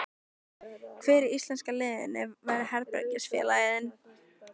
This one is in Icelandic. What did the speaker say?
Hver í íslenska liðinu væri herbergisfélagi þinn?